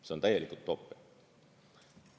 See on täielik utoopia.